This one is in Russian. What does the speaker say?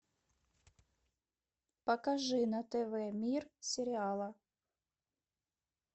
покажи на тв мир сериала